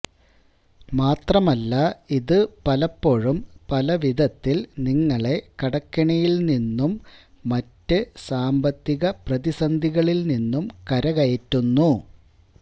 മാത്രമല്ല ഇത് പലപ്പോഴും പല വിധത്തില് നിങ്ങളെ കടക്കെണിയില് നിന്നും മറ്റ് സാമ്പത്തിക പ്രതിസന്ധികളില് നിന്നും കരകയറ്റുന്നു